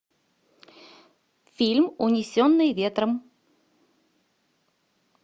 фильм унесенные ветром